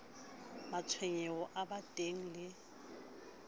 matshwenyeho ao ba teaneng le